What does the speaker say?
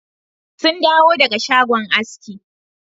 Sun dawo daga shagon aski.